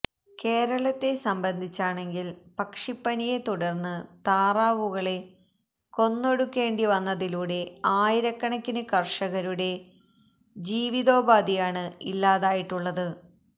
കേരളത്തെ സംബന്ധിച്ചാണെങ്കിൽ പക്ഷിപ്പനിയെ തുടർന്ന് താറാവുകളെ കൊന്നൊടുക്കേണ്ടിവന്നതിലൂടെ ആയിരക്കണക്കിന് കർഷകരുടെ ജീവിതോപാധിയാണ് ഇല്ലാതായിട്ടുള്ളത്